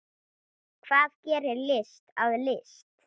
Hvað gerir list að list?